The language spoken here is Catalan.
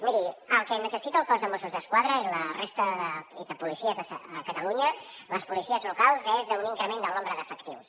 miri el que necessita el cos de mossos d’esquadra i la resta de policies a catalunya les policies locals és a un increment del nombre d’efectius